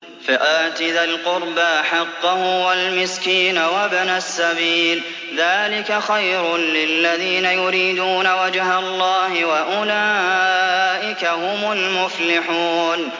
فَآتِ ذَا الْقُرْبَىٰ حَقَّهُ وَالْمِسْكِينَ وَابْنَ السَّبِيلِ ۚ ذَٰلِكَ خَيْرٌ لِّلَّذِينَ يُرِيدُونَ وَجْهَ اللَّهِ ۖ وَأُولَٰئِكَ هُمُ الْمُفْلِحُونَ